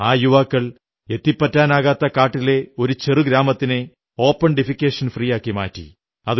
ആ യുവാക്കൾ എത്തിപ്പറ്റാനാകാത്ത കാട്ടിലെ ഒരു ചെറു ഗ്രാമത്തിനെ ഓപൺ ഡിഫെക്കേഷൻ ഫ്രീ ആക്കി മാറ്റി